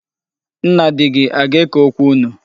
Nna di gị aga-eke okwu unu?